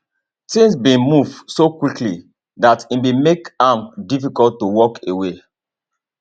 tins bin move so quickly dat e bin make am difficult to walk away